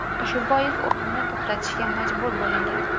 Shu bois o‘yinni to‘xtatishga majbur bo‘lingan.